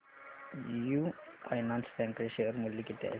AU finance bank चे share मूल्य किती आहे सांगा